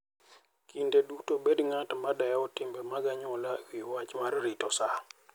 Kinde duto bed ng'at ma dewo timbe mag anyuola e wi wach rito sa.